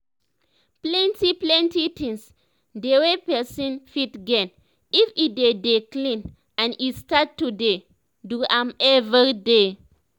plenti plenti things dey wey pesin fit gain if e dey dey clean and e start to dey do am everyday